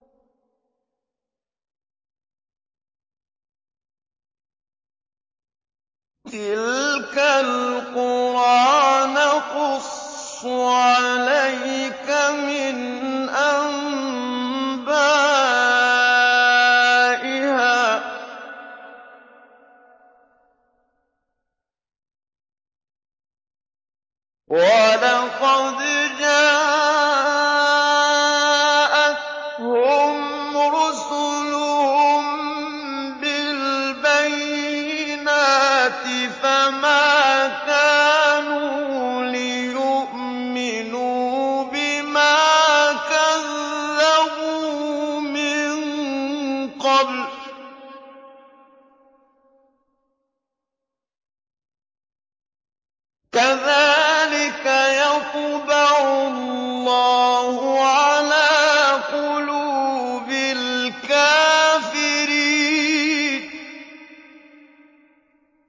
تِلْكَ الْقُرَىٰ نَقُصُّ عَلَيْكَ مِنْ أَنبَائِهَا ۚ وَلَقَدْ جَاءَتْهُمْ رُسُلُهُم بِالْبَيِّنَاتِ فَمَا كَانُوا لِيُؤْمِنُوا بِمَا كَذَّبُوا مِن قَبْلُ ۚ كَذَٰلِكَ يَطْبَعُ اللَّهُ عَلَىٰ قُلُوبِ الْكَافِرِينَ